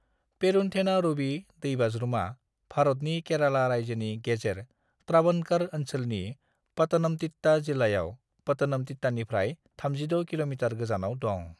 पेरुन्थेनारुवी दैबाज्रुमा भारतनि केरेला रायजोनि गेजेर त्रावणकर ओनसोलनि पातनमतिट्टा जिल्लायाव पातनमतिट्टानिफ्राय 36 किल'मितार गोजानाव दं।